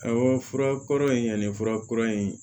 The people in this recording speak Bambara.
Awɔ fura kɔrɔ in ani furakura in